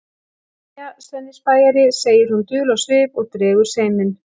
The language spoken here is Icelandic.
Jæja, Svenni spæjari, segir hún dul á svip og dregur seiminn.